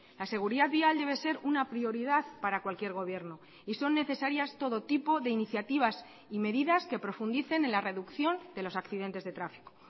la seguridad vial debe ser una prioridad para cualquier gobierno y son necesarias todo tipo de iniciativas y medidas que profundicen en la reducción de los accidentes de tráfico